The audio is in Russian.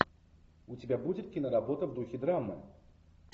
у тебя будет киноработа в духе драмы